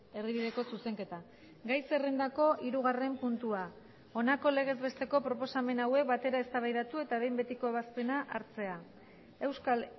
erdibideko zuzenketa gai zerrendako hirugarren puntua honako legez besteko proposamen hauek batera eztabaidatu eta behin betiko ebazpena hartzea euskal